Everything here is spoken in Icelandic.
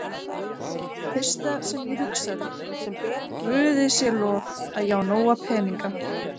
Fyrsta sem ég hugsaði, Guði sé lof, að ég á nóga peninga.